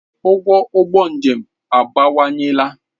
Ụgwọ ụgbọ njem abawanyela.